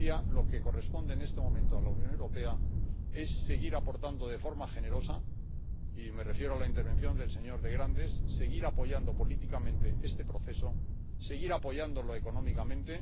Lo que corresponde en este momento a la Unión Europea es seguir aportando de forma generosa —y me refiero a la intervención del señor de Grandes—, seguir apoyando políticamente este proceso, seguir apoyándolo económicamente.